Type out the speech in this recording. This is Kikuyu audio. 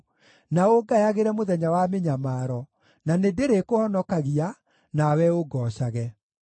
na ũngayagĩre mũthenya wa mĩnyamaro; na nĩndĩrĩkũhonokagia, nawe ũngoocage.”